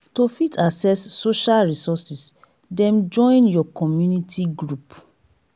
to fit access social resources dem join your community group